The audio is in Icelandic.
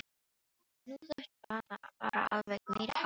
Nú. þú ert bara. bara alveg meiriháttar!